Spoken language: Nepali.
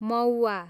मौव्वा